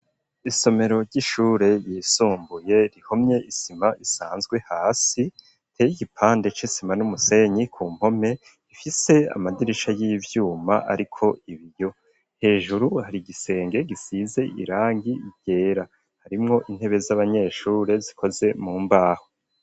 Isomero ry'ishure yisumbuye, rihomye isima isanzwe hasi, iteye igipande c'isima n'umusenyi ku mpome, ifise amadirisha y'ivyuma ariko ibiyo, hejuru hari igisenge gisize irangi ryera, harimwo intebe z'abanyeshure zikoze mu mbaho.